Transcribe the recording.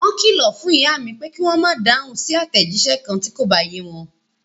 Wọ́n kìlọ̀ fún ìyá mi, pé kí wọ́n ma dáhùn sí àtẹ̀jísẹ́ kan ti ko bá ye wọn.